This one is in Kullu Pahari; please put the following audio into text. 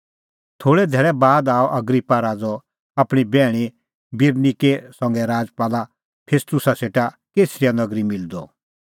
थोल़ै धैल़ै बाद आअ अग्रिप्पा राज़अ आपणीं बैहणी बिरनिके संघै राजपाल फेस्तुस सेटा कैसरिया नगरी मिलदअ